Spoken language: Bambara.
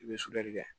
I bɛ sunjali kɛ